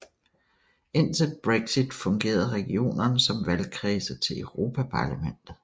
Indtil Brexit fungerede regionerne som valgkredse til Europaparlamentet